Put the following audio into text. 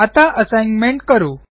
आता असाइनमेंट करू